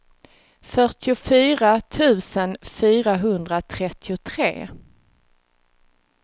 fyrtiofyra tusen fyrahundratrettiotre